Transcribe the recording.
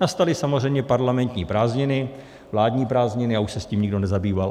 Nastaly samozřejmě parlamentní prázdniny, vládní prázdniny, a už se s tím nikdo nezabýval.